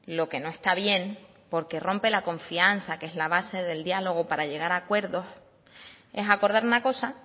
lo que no está bien porque rompe la confianza que es la base del diálogo para llegar a acuerdos es acordar una cosa